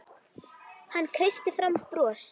Hann kreisti fram bros.